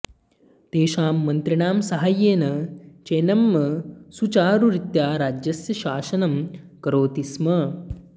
तेषां मन्त्रिणां साहाय्येन चेन्नम्म सुचारुरीत्या राज्यस्य शासनं करोति स्म